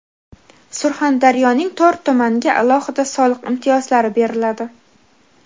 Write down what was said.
Surxondaryoning to‘rt tumaniga alohida soliq imtiyozlari beriladi.